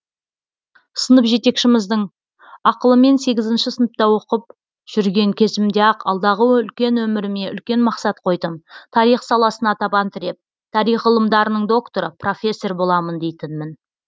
сынып жетекшіміздің ақылымен сегізінші сыныпта оқып жүрген кезімде ақ алдағы үлкен өміріме үлкен мақсат қойдым тарих саласына табан тіреп тарих ғылымдарының докторы профессор боламын дейтінмін